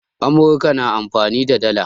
Amurka na amfani da dala